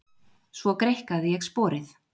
Svo greikkaði ég sporið.